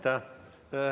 Aitäh!